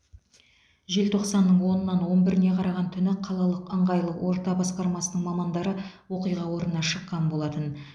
желтоқсанның онынан он біріне қараған түні қалалық ыңғайлы орта басқармасының мамандары оқиға орнына шыққан болатын